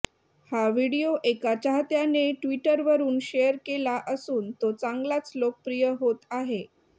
हा व्हिडिओ एका चाहत्याने ट्विटरवरुन शेअर केला असून तो चांगलाच लोकप्रिय होत आहे